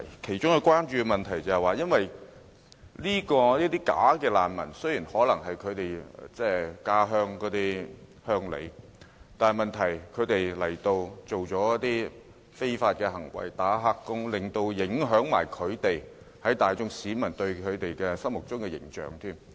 其中一個關注點是，縱使這些"假難民"可能是他們的同鄉，但這些人來港後從事非法活動，如"打黑工"，連帶影響了他們在大眾市民心目中的形象。